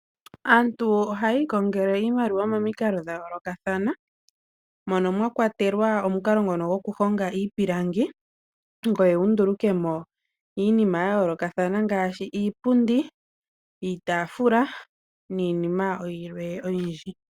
Aantu ohaya ikongele iimaliwa momikalo dha yoolokathana mono mwa kwatelwa omukalo ngono goku honga iipilangi, ngoye wu ndulukemo iinima ya yoolokathana ngaashi iipundi, iitaafula niinima yilwe oyindji.